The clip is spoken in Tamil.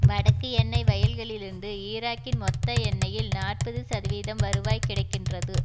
வடக்கு எண்ணெய் வயல்களிலிருந்து ஈராக்கின் மொத்த எண்ணெய்யில் நாற்பது சதவிதம் வருவாய் கிடை கின்றது